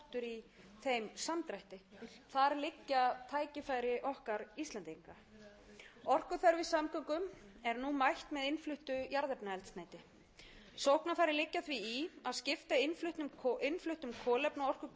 í þeim samdrætti þar liggja tækifæri okkar íslendinga orkuþörf í samgöngum er nú mætt með innfluttu jarðefnaeldsneyti sóknarfærin liggja því í að skipta innfluttum kolefnaorkugjöfum